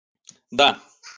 да